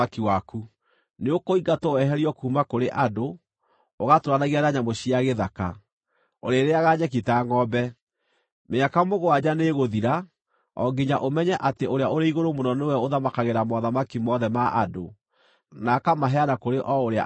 Nĩũkũingatwo weherio kuuma kũrĩ andũ, ũgatũũranagie na nyamũ cia gĩthaka; ũrĩrĩĩaga nyeki ta ngʼombe. Mĩaka mũgwanja nĩĩgũthira, o nginya ũmenye atĩ, Ũrĩa-ũrĩ-Igũrũ-Mũno nĩwe ũthamakagĩra mothamaki mothe ma andũ, na akamaheana kũrĩ o ũrĩa angĩenda.”